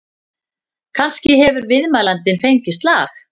Kannski hefur viðmælandinn fengið slag?